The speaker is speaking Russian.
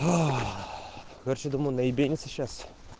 короче думаю наебениться сейчас